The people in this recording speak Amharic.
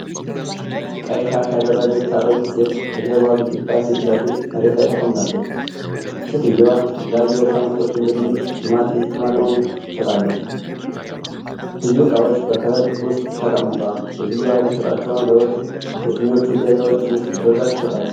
ቀይ ሻሽ የደረገች አሮጊት ሴት በጀርባዋ ግድግዳ ፊት ለፊት መሬት ላይ ተቀምጣለች። ሴትየዋ የተለያዩ የእርሻ ምርቶች እንደ ድንች፣ ቲማቲም፣ ቅመማ ቅመም ትሸጣለች። ብዙ እቃዎች በከረጢት ውስጥ ተቀምጠዋል። ሴትየዋ የምትሸጣቸው ነገሮች የትኞቹ ገበያዎች ውስጥ በብዛት ይሸጣሉ?